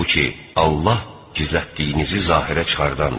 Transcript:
Halbuki, Allah gizlətdiyinizi zahirə çıxardandır.